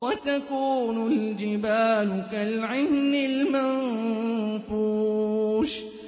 وَتَكُونُ الْجِبَالُ كَالْعِهْنِ الْمَنفُوشِ